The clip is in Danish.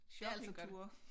Shoppingture